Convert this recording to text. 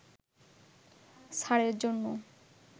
ছাড়ের জন্য